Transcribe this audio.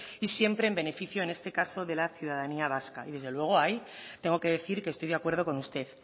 y siempre en beneficio en este caso de la ciudadanía vasca y desde luego ahí tengo que decir que estoy de acuerdo con usted